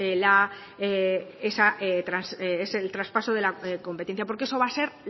el traspaso de la competencia porque eso va a ser